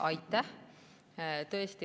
Aitäh!